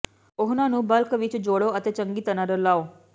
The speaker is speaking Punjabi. ਉਹਨਾਂ ਨੂੰ ਬਲਕ ਵਿੱਚ ਜੋੜੋ ਅਤੇ ਚੰਗੀ ਤਰ੍ਹਾਂ ਰਲਾਉ